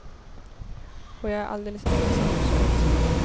Och jag är alldeles ensam, så ensam.